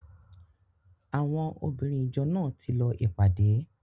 Àwọn obìnrin ìjọ náà ti lọ ìpàdé.